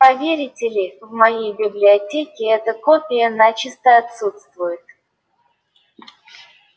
поверите ли в моей библиотеке эта копия начисто отсутствует